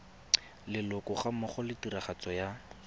leloko gammogo le tiragatso ya